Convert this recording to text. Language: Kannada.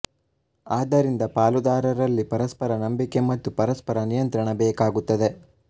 ಅದರಿಂದ ಪಾಲುದಾರರಲ್ಲಿ ಪರಸ್ಪರ ನಂಬಿಕೆ ಮತ್ತು ಪರಸ್ಪರ ನಿಯಂತ್ರಣ ಬೇಕಾಗುತ್ತದೆ